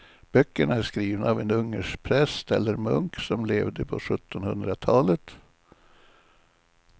Böckerna är skrivna av en ungersk präst eller munk som levde på sjuttonhundratalet.